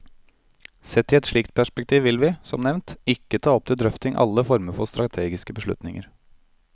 Sett i et slikt perspektiv vil vi, som nevnt, ikke ta opp til drøfting alle former for strategiske beslutninger.